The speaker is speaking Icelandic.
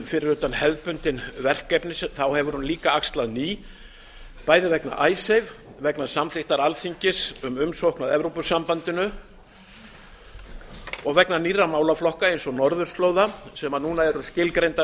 fyrir utan hefðbundin verkefni hefur hún axlað ný verkefni meðal annars vegna icesave samþykktar alþingis um umsókn að evrópusambandinu og nýrra málaflokka eins og norðurslóða sem núna eru skilgreindar